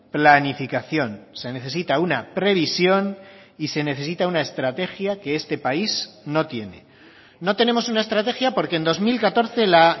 planificación se necesita una previsión y se necesita una estrategia que este país no tiene no tenemos una estrategia porque en dos mil catorce la